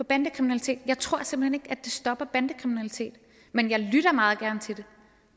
bandekriminalitet jeg tror simpelt at det stopper bandekriminalitet men jeg lytter meget